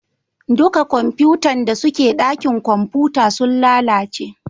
Duka kwamfutan da suke dakin kwamfuta sun lalace